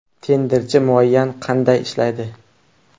Tenderchi muayyan qanday ishlaydi?